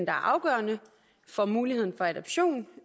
er afgørende for muligheden for adoption